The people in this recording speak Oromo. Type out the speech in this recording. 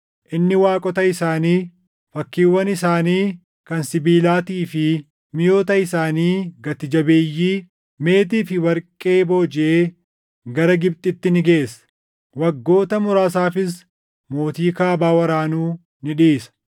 Inni waaqota isaanii, fakkiiwwan isaanii kan sibiilaatii fi miʼoota isaanii gati jabeeyyii meetii fi warqee boojiʼee gara Gibxitti ni geessa. Waggoota muraasaafis mootii Kaabaa waraanuu ni dhiisa.